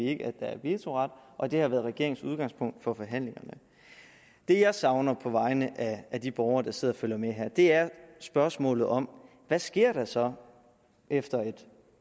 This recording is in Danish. ikke at der er vetoret og det har været regeringens udgangspunkt for forhandlingerne det jeg savner på vegne af de borgere der sidder og følger med her er spørgsmålet om hvad sker der så efter et